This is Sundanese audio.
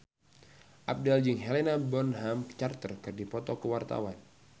Abdel jeung Helena Bonham Carter keur dipoto ku wartawan